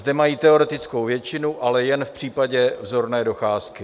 Zde mají teoretickou většinu, ale jen v případě vzorné docházky.